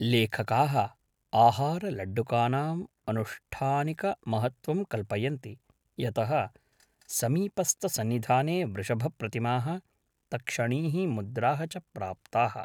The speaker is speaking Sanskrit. लेखकाः आहारलड्डुकानाम् अनुष्ठानिकमहत्त्वं कल्पयन्ति, यतः समीपस्थसन्निधाने वृषभप्रतिमाः, तक्षणीः, मुद्राः च प्राप्ताः।